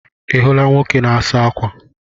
Ị hụrụ nwoke na-asa ákwà?